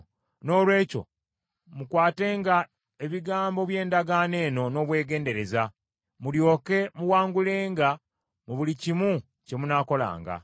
Noolwekyo mukwatenga ebigambo by’endagaano eno n’obwegendereza, mulyoke muwangulenga mu buli kimu kye munaakolanga.